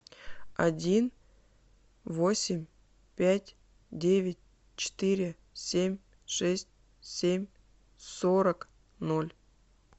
один восемь пять девять четыре семь шесть семь сорок ноль